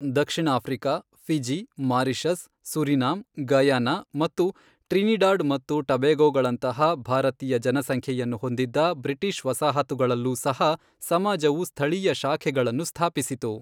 ದಕ್ಷಿಣ Africa, Fiji, Mauritius, Suriname, Guyana, ಮತ್ತು Trinidad ಮತ್ತು ಟಬೇಗೊಗಳಂತಹ ಭಾರತೀಯ ಜನಸಂಖ್ಯೆಯನ್ನು ಹೊಂದಿದ್ದ ಬ್ರಿಟಿಷ್ ವಸಾಹತುಗಳಲ್ಲೂ ಸಹ ಸಮಾಜವು ಸ್ಥಳೀಯ ಶಾಖೆಗಳನ್ನು ಸ್ಥಾಪಿಸಿತು.